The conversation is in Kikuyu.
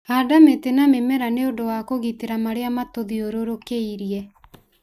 Handa mĩtĩ na mĩmera nĩ ũndũ wa kũgitĩra marĩa matũthiũrũrũkĩirie.